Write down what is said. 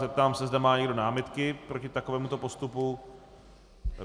Zeptám se, zda má někdo námitky proti takovémuto postupu.